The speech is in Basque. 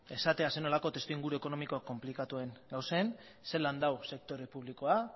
esatea zer nolako testuinguru ekonomiko konplikatuan gauden zelan dagoen sektore